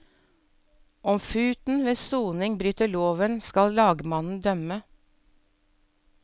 Om futen ved soning bryter loven, skal lagmannen dømme.